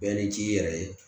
Bɛɛ ni c'i yɛrɛ ye